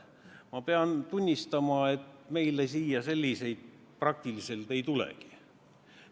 Ma pean tunnistama, et meile siia selliseid praktiliselt ei tulegi.